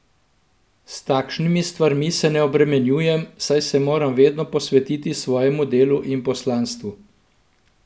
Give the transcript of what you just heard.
S takšnimi stvarmi se ne obremenjujem, saj se moram vedno posvetiti svojemu delu in poslanstvu.